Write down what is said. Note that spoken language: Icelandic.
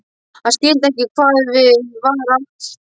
Hann skildi ekki hvað við var átt.